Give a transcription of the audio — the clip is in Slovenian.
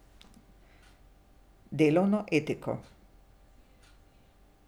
Delovno etiko.